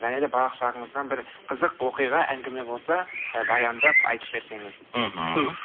және де балалық шағыңыздан бір қызық оқиға әңгіме болса і баяндап айтып берсеңіз мхм туһ